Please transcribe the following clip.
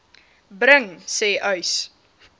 bring sê uys